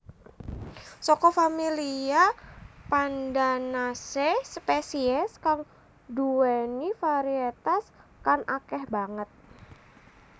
Saka familia Pandanaceae spesies kang duwéni variétas kan akèh banget